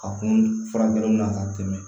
Ka kun furakɛli la ka tɛmɛ